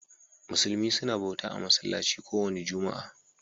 Musulmi suna bauta a'masallaci kowani ran Juma'a.